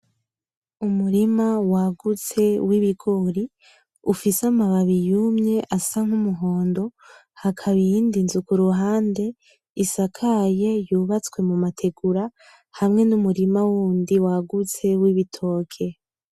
Umurima wagutse w'ibigori, ufise amababi yumye asa n'umuhondo, hakaba iyindi nzu kuruhande isakaye, yubatswe mu mategura hamwe n'umurima w’undi wagutse w'ibitoke.